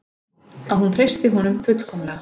Að hún treystir honum fullkomlega.